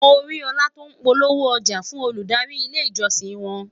mọ rí òla tó n polówó ọja fún Olùdarí ilé ìjósìn won